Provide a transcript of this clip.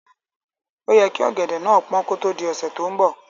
Óyẹ kí ọ̀gẹ̀dẹ̀ náà pọ́n kó tó di ọ̀sẹ́ tó ń bọ̀.